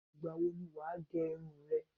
Ìgbà wo ni wà á gẹ irun re?